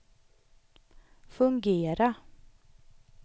fungera